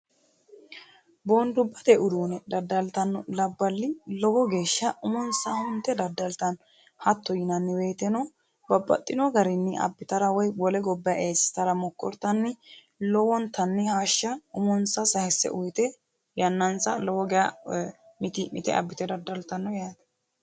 boondubbate uduune daddaltanno labballi lowo geeshsha umonsa hunte daddaltanno hatto yinanniweyiteno babbaxxino garinni abbitara woy wole gobba eessitara mokkortanni lowontanni hashsha umonsa sayisse uyite yannansa lowo ga miti'mite abbite daddaltanno yaate